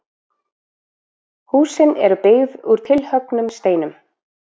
Húsin eru byggð úr tilhöggnum steinum.